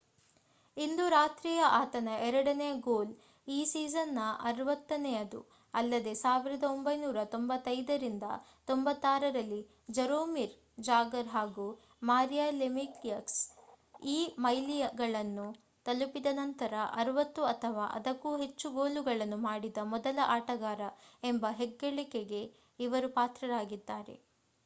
ಇಂದು ರಾತ್ರಿಯ ಆತನ ಎರಡನೆಯ ಗೋಲ್ ಈ ಸೀಸನ್ ನ 60ನೆಯದು ಅಲ್ಲದೇ 1995 -96 ರಲ್ಲಿ ಜರೋಮಿರ್ ಜಾಗರ್ ಹಾಗೂ ಮಾರಿಯೋ ಲೆಮಿಯಕ್ಸ್ ಈ ಮೈಲಿಗಲ್ಲನ್ನು ತಲುಪಿದ ನಂತರ 60 ಅಥವಾ ಅದಕ್ಕೂ ಹೆಚ್ಚು ಗೋಲುಗಳನ್ನು ಮಾಡಿದ ಮೊದಲ ಆಟಗಾರ ಎಂಬ ಹೆಗ್ಗಳಿಕೆಗೆ ಇವರು ಪಾತ್ರರಾಗಿದ್ದಾರೆ